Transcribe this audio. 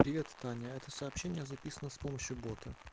привет таня это сообщение записано с помощью бота